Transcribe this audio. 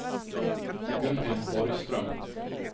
Gunhild Borgström